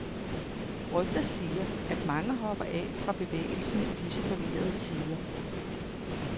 Rygter siger, at mange hopper af fra bevægelsen i disse forvirrede tider.